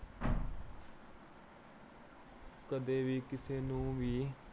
ਅਹ ਕਦੇ ਵੀ ਕਿਸੇ ਨੂੰ ਵੀ